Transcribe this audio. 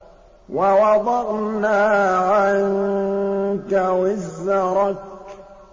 وَوَضَعْنَا عَنكَ وِزْرَكَ